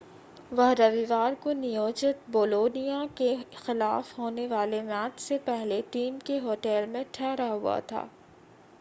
वह रविवार को नियोजित बोलोनिया के खिलाफ होने वाले मैच से पहले टीम के होटल में ठहरा हुआ था